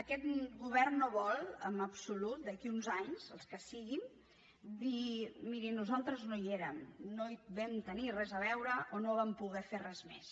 aquest govern no vol en absolut d’aquí a uns anys els que siguin dir miri nosaltres no hi érem no hi vam tenir res a veure o no hi vam poder fer res més